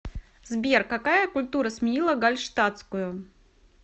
сбер какая культура сменила гальштатскую